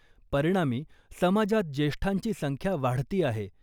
परिणामी, समाजात ज्येष्ठांची संख्या वाढती आहे.